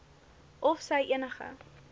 of sy enige